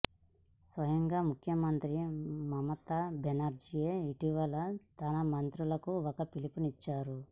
స్వయంగా ముఖ్యమంత్రి మమతా బెనర్జీయే ఇటీవల తన మంత్రులకు ఒక పిలుపునిచ్చారు